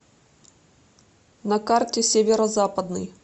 на карте северо западный